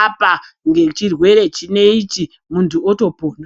apa ngechirwere chinechi muntu otopona.